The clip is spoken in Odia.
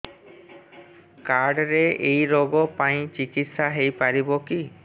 କାର୍ଡ ରେ ଏଇ ରୋଗ ପାଇଁ ଚିକିତ୍ସା ହେଇପାରିବ କି